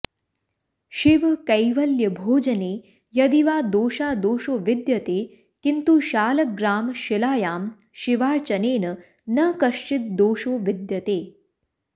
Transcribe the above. शिवकैवल्यभोजने यदि वा दोषादोषो विद्यते किन्तु शालग्रामशिलायां शिवार्चनेन न कश्चिद् दोषो विद्यते